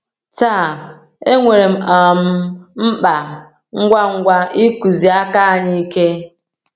Taa, enwere um mkpa ngwa ngwa ịkụzi aka anyị ike.